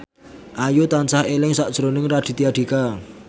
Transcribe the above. Ayu tansah eling sakjroning Raditya Dika